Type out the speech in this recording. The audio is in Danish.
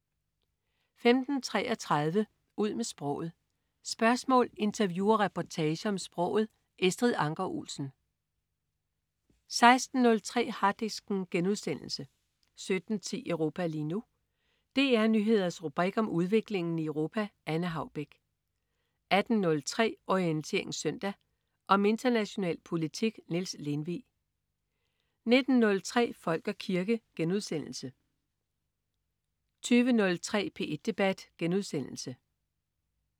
15.33 Ud med sproget. Spørgsmål, interview og reportager om sproget. Estrid Anker Olsen 16.03 Harddisken* 17.10 Europa lige nu. DR Nyheders rubrik om udviklingen i Europa. Anne Haubek 18.03 Orientering Søndag. Om international politik. Niels Lindvig 19.03 Folk og kirke* 20.03 P1 Debat*